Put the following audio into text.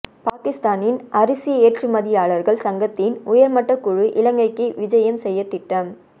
பாகிஸ்தானின் அரிசி ஏற்றுமதியாளர்கள் சங்கத்தின் உயர்மட்ட குழு இலங்கைக்கு விஜயம் செய்யத்திட்டம்